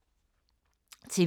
TV 2